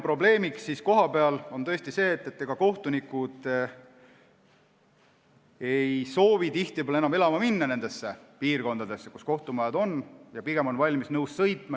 Probleemiks kohapeal on see, et kohtunikud ei soovi enam tihtipeale elama minna nendesse piirkondadesse, kus kohtumajad on, pigem on nad nõus sinna sõitma.